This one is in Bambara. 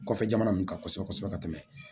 Kɔfɛ jamana ninnu kan kosɛbɛ kosɛbɛ ka tɛmɛ